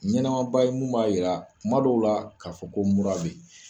Ɲɛnamaba ye mun b'a jira tuma dɔw la k'a fɔ ko mura bɛ yen